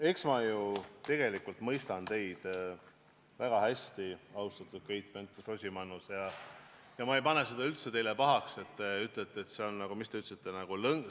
Eks ma ju tegelikult mõistan teid väga hästi, austatud Keit Pentus-Rosimannus, ja ma ei pane seda teile üldse pahaks, et te ütlete, et see on nagu – kuidas te ütlesitegi?